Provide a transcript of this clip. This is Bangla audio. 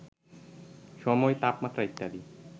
সময়, তাপমাত্রা ইত্যাদি